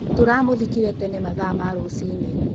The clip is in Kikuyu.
Tũramũthikire tene mathaa ma rũcinĩ.